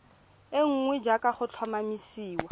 e nngwe jaaka go tlhomamisiwa